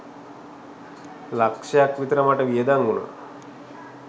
ලක්‍ෂ ක් විතර මට වියදම් වුණා